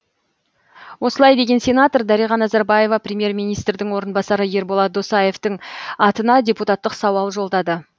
осылай деген сенатор дариға назарбаева премьер министрдің орынбасары ерболат досаевтың атына депутаттық сауал жолдады